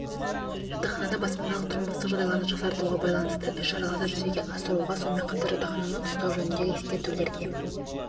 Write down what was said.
жатақханада баспаналық-тұрмыстық жағдайларды жақсартуға байланысты іс-шараларды жүзеге асыруға сонымен қатар жатақхананы ұстау жөніндегі ескертулерге